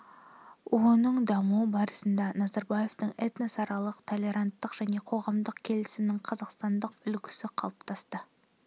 оның дамуы барысында назарбаевтың этносаралық толеранттылық және қоғамдық келісімнің қазақстандық үлгісі қалыптасты